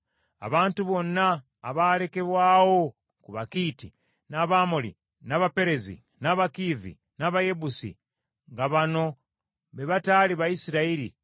Abantu bonna abaalekebwawo ku Bakiiti, n’Abamoli, n’Abaperezi, n’Abakiivi, n’Abayebusi, nga bano be bataali Bayisirayiri,